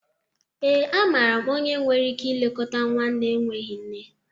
ee, amaara m onye nwere ike ilekọta nwa na-enweghị nne